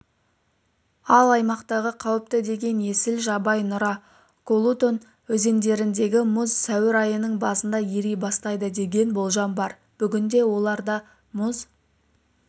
ал аймақтағы қауіпті деген есіл жабай нұра колутон өзендеріндегі мұз сәуір айының басында ери бастайды деген болжам бар бүгінде оларда мұз